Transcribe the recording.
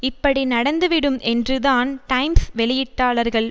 இப்படி நடந்து விடும் என்று தான் டைம்ஸ் வெளியிட்டாளர்கள்